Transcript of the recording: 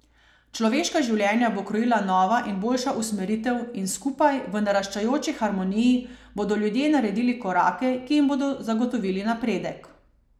Človeška življenja bo krojila nova in boljša usmeritev in skupaj, v naraščajoči harmoniji, bodo ljudje naredili korake, ki jim bodo zagotovili napredek.